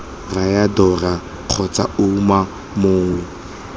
raya dora kgotsa ouma mongwe